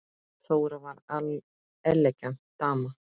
Þóra var elegant dama.